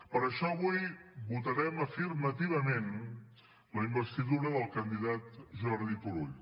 per això avui votarem afirmativament la investidura del candidat jordi turull